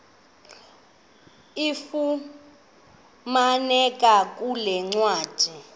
ifumaneka kule ncwadi